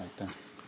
Aitäh!